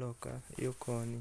loka yo koni.